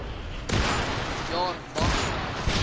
jaar mag verander